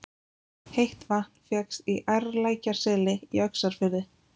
Heitt vatn fékkst í Ærlækjarseli í Öxarfirði.